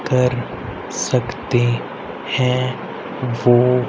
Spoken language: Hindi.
कर सकते है वो--